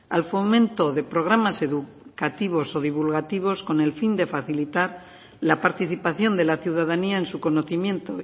al fomento de programas educativos o divulgativos con el fin de facilitar la participación de la ciudadanía en su conocimiento